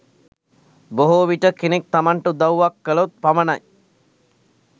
බොහෝ විට කෙනෙක් තමන්ට උදව්වක් කළොත් පමණයි,